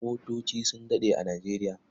Motoci su daɗe a Nijeriya.